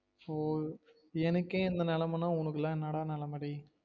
ஒஹ் எனக்கே இந்த நெலமனா உனக்கு லாம் என்னடா நெலம டேயி